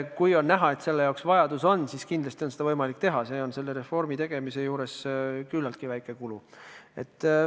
Kui on näha, et selleks vajadus on, siis kindlasti on seda võimalik teha, see on selle reformi juures küllaltki väike kulu.